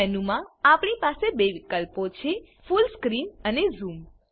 menu માં આપણી પાસે બે વિકલ્પો છે ફુલ સ્ક્રીન અને ઝૂમ